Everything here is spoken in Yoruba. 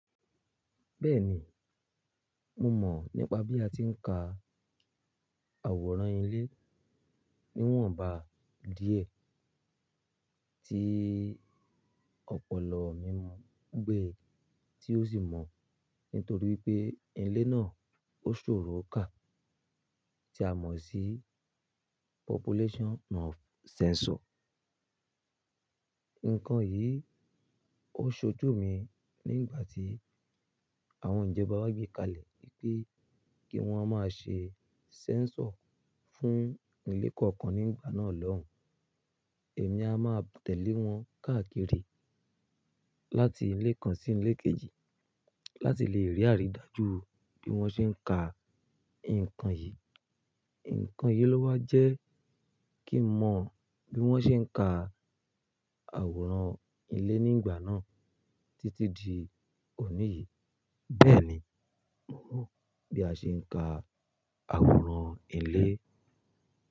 Bẹ́ẹ̀ni, mo mọ̀ nípa bí a ti ń ka àwòrán ilé níwọ̀nba díẹ̀. Tí ọ̀pọ̀lọ̀ mi mọ̀ gbé ti ó sì mọ̀ nítorí pé ilé náà ó ṣòro ká tí a mọ̀ sí Population of Census. Nǹkan yìí ó ṣojú mi nígbà tí àwọn ìjọba gbé kalẹ̀ wípé kí wọ́n máa ṣe census fún ilé kọ̀ọ̀kan nígbà náà lọ́hùn. Èmi a máa tẹ̀lé wọn káàkiri láti ilé kan sí ilé kejì láti lè rí àrídájú bí wọ́n ṣe ń ka nǹkan yìí. Nǹkan yìí ló wá jẹ́ kí mo mọ bí wọ́n ṣe ń ka àwòrán ilé nígbà náà títí di òní yìí. Bẹ́ẹ̀ni, mo mọ̀ bí a ṣe ń ka àwòrán ilé.